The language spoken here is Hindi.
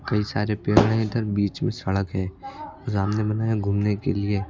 कई सारे पेड़ हैं इधर बीच में सड़क है रामने बना है घूमने के लिए।